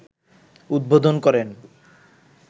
উদ্বোধন করেন